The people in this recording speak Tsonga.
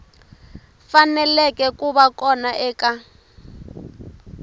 faneleke ku va kona eka